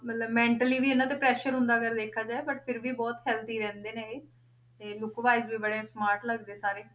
ਮਤਲਬ mentally ਵੀ ਇਹਨਾਂ ਤੇ pressure ਹੁੰਦਾ ਅਗਰ ਵੇਖਿਆ ਜਾਏ but ਫਿਰ ਵੀ ਬਹੁਤ healthy ਰਹਿੰਦੇ ਨੇ ਇਹ, ਤੇ look wise ਵੀ ਬੜੇ smart ਲੱਗਦੇ ਸਾਰੇ।